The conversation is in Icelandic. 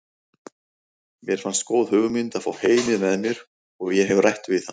Mér fannst góð hugmynd að fá Heimi með mér og ég hef rætt við hann.